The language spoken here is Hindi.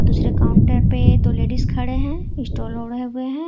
दूसरे काउंटर पे दो लेडिस खड़े हैं स्टॉल ओढ़े हुए हैं।